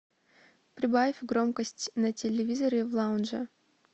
прибавь громкость на телевизоре в лаунже